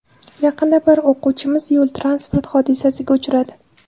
Yaqinda bir o‘quvchimiz yo‘l-transport hodisasiga uchradi.